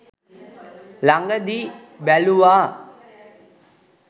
ලඟදී බැලුවා